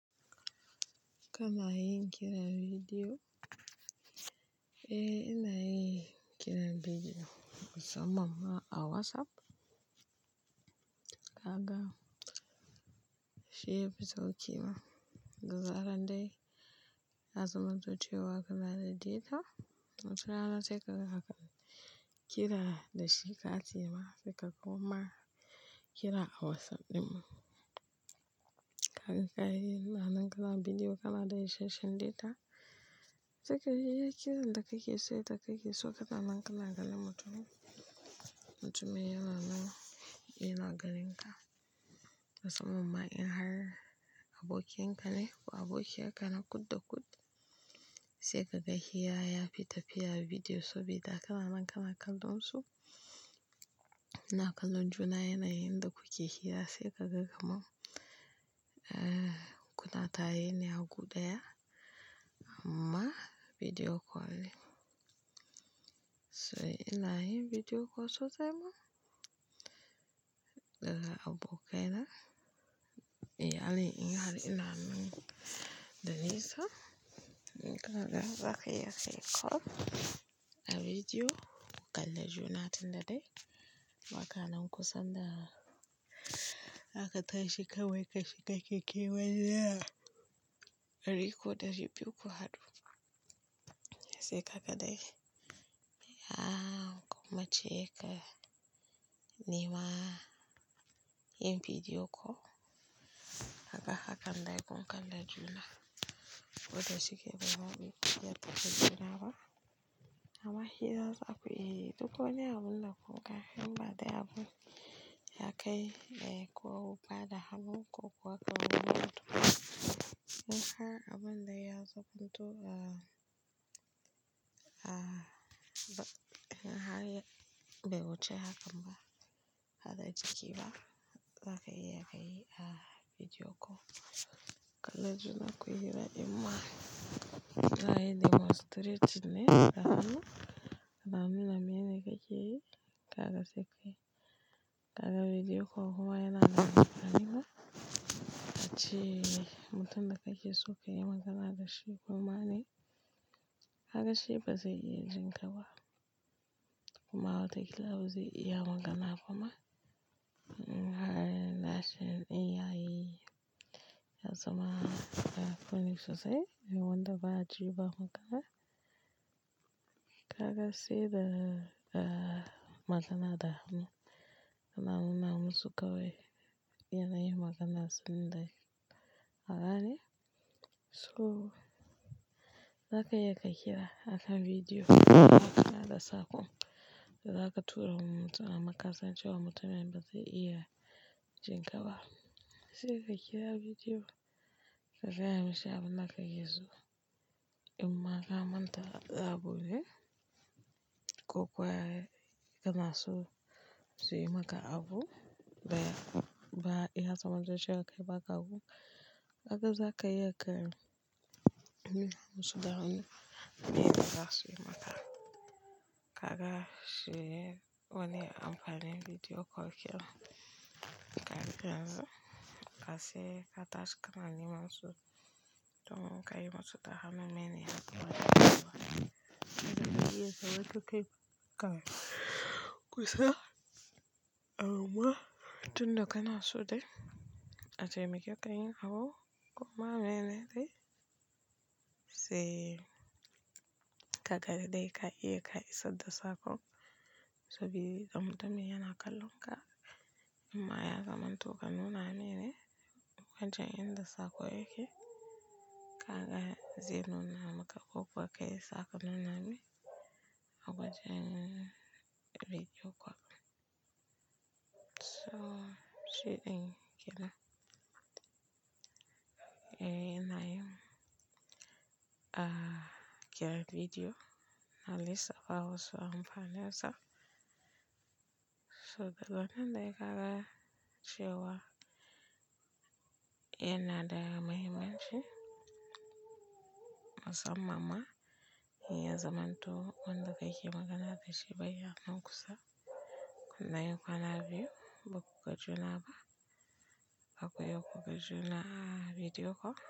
Kana yin kiran bidiyo? Eh, ina yin kiran bidiyo musamman ma a WhatsApp. Kaga shi yafi sauƙi ma. Da zarar dai yazamanto ce wa ka nada data sai ka kira da shi ka tsaya ma sai ka koma kira a WhatsApp ɗin. Kaga kai yi nan kaza bidiyo kana da isashen data, sai ka yi kiran da kake so da kai ke so kaɗan nan kana ganin mutumin. Mutumin yana nan yana ganinka. Musamman ma in har abokinka ne ko abokiya ka na kud da kud, sai kaga hira ya fita fiya a bidiyo sobi da kaɗan nan kana kallon su. Na kallon juna yana yadda kuke hira sai kaga kamom, eh, kuna tare ne a guda ma bidiyo kol. So ina yin bidiyo kol sosai ma. Da ga abokaina. Iyalina in har ina nan da nesa, naga zaki yi call a bidiyo kalla juna tun da dai. Baka nan kusan da haka ta shiga wai ka shiga kike waje a ɗari goma da shubiyu uku haɗu. Sai kaga dai, a kuma cike nima yin bidiyo kol. Haka akan dai kun kalla juna. Koda shike ba ma biyu ku jiya ta fito jira ba. Amma hira zaku yi duk wane abun da kuka himba dai abun ya kai dai kuwa ba da hannunku kuwa kawai gudu. Mun ha abin da ya zabunto a, a, ba, ba haka ya, bai wuce haka ba. Hada jiki ba. Zaka iya kayi a bidiyo kol. Kalla juna kuyi hira ɗinma. Na yi demonstrate ne da hannu. Da hannuna mene kake yi? Kaga sai kai. Kaga bidiyo kol kuwa yana nan gaba garina. Bacciye mutum da kake so ka yi magana da shi kuma ne. Haka shi bazai iya jin ka ba. Kuma wataƙila bazai iya magana kuma. In har nashi in yayi, ya zama, ya foni sosai. Yiwanda ba a ji ba magana. Kaga sai da, da magana da hannu. Da hannuna mun shuka wai yana yin magana sanda kaga ne. So zaka iya ka kira akan bidiyo kol magana da saƙon da zaka tura wa mutum a makasancewa mutumin bazai iya jin ka ba. Sai ka kira bidiyo kol kaga ya mashi abun da ka keso. In ma ka manta a rabo dai, ko kuwa yana so su yi maka abu baya. Ba ya samun zai shirya kai maka abu. Haka zaka iya kai nuna musu da hannu mene za su yi maka. Kaga shi wani amfani bidiyo kol kenan. Kaga yanzu, ka sai ka tashi ka nanima su don ka yi musu da hannu mene za su yi maka. Kaga shi yasa watuke kan kusa. Amma tun da kana so dai a taimake ka yin abu kuma mene dai. Sai ka ga dai ka iya ka isadda saƙon. Sobi da mutumin yana kallon ka. In ma ya zamanto ka nuna mene akwai jan yan da saƙo yake. Kaga zai nuna maka ko kuwa kai saka nuna mai akwai wajen bidiyo kol. So shiɗin kira. Eh, ina yin, a kira bidiyo na lissa fa wasu amfani sa. So daga nan dai kaga cewa yana da mahimmanci. Musamman ma in ya zaman to wanda kake yi magana da shi baya nan kusa. Kuma nayi kwana biyu bakuga juna ba. Zaku iya kuga juna a bidiyo kol.